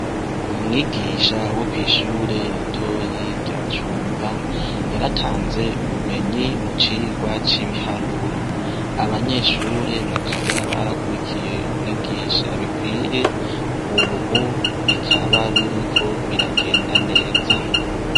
Umwigisha wo kwishure ritoyi rya cumba yaratanze ubumenyi mu cigwa cibiharuro abanyeshure bakaba barakurikiye umwigisha bikwiye ubu bikaba biriko biragenda neza